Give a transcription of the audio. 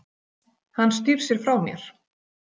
Hann snýr sér frá mér.